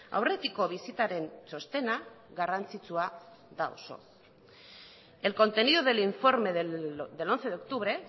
aurretiko bisitaren txostena garrantzitsua da oso el contenido del informe del once de octubre